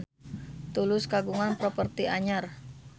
Tulus kagungan properti anyar